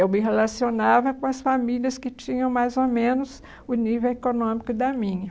Eu me relacionava com as famílias que tinham mais ou menos o nível econômico da minha.